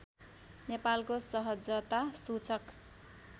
नेपालको सहजता सूचक